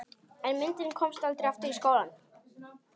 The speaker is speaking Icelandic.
En myndin komst aldrei aftur í skólann.